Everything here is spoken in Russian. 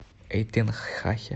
эйтенхахе